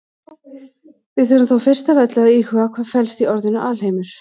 Við þurfum þó fyrst af öllu að íhuga hvað felst í orðinu alheimur.